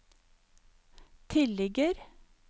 tilligger